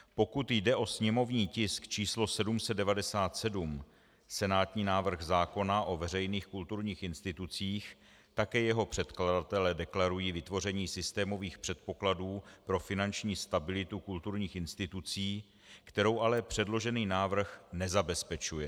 Pokud jde o sněmovní tisk číslo 797, senátní návrh zákona o veřejných kulturních institucích, také jeho předkladatelé deklarují vytvoření systémových předpokladů pro finanční stabilitu kulturních institucí, kterou ale předložený návrh nezabezpečuje.